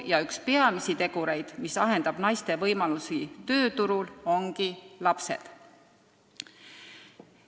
Ja üks peamisi tegureid, mis ahendab naiste võimalusi tööturul, ongi lapsed.